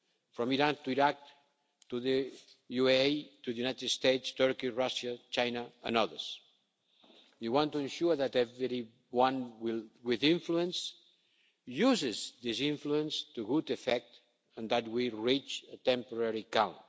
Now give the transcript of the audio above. from Iran to Iraq, the UAE, the United States, Turkey, Russia, China and others. We want to ensure that everyone with influence uses this influence to good effect and that we reach a temporary calm.